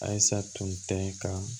Ayisa tun tɛ ka